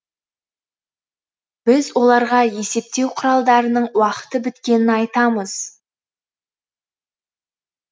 біз оларға есептеу құралдарының уақыты біткенін айтамыз